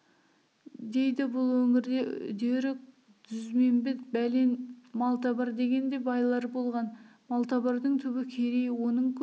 дейді бұл өңірде үдері дүзбембет бәлен малтабар деген де байлар болған малтабардың түбі керей оның көп